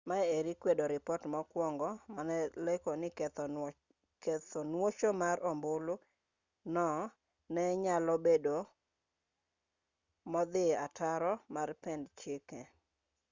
maeri kwedo ripot mokwongo mane lieko ni ketho nuocho mar ombulu no ne nyalo bedo modhi ataro mar pend chike